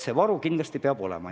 See varu kindlasti peab olema.